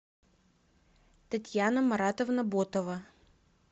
татьяна маратовна ботова